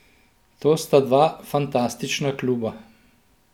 To sta dva fantastična kluba.